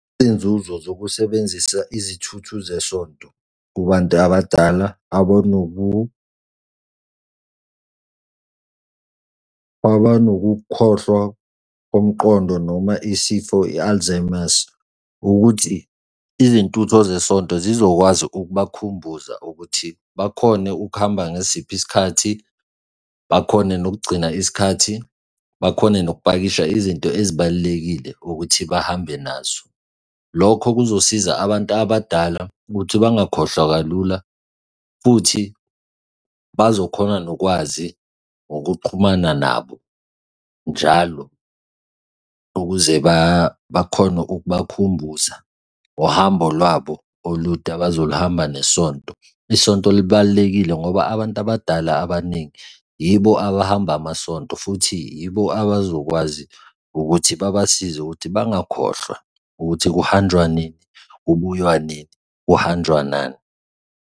Izinzuzo zokusebenzisa izithuthu zesonto kubantu abadala abanokukhohlwa komqondo noma isifo i-alzheimer's, ukuthi izintutho zesonto zizokwazi ukubakhumbuza ukuthi bakhone ukuhamba ngesiphi isikhathi, bakhone nokugcina isikhathi, bakhone nokupakisha izinto ezibalulekile ukuthi bahambe nazo. Lokho kuzosiza abantu abadala ukuthi bangakhohlwa kalula futhi bazokhona nokwazi ngokuxhumana nabo njalo ukuze bakhone ukubakhumbuza ngohambo lwabo olude abazolihamba nesonto. Isonto libalulekile ngoba abantu abadala abaningi yibo abahamba amasonto futhi yibo abazokwazi ukuthi babasize ukuthi bangakhohlwa ukuthi kuhanjwa nini? Kubuywa nini? Kuhanjwa nani.